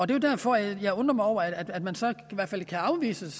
det er derfor jeg undrer mig over at man så kan afvise